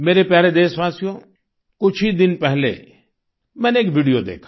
मेरे प्यारे देशवासियो कुछ ही दिन पहले मैंने एक वीडियो देखा